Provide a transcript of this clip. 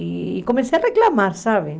E comecei a reclamar, sabe?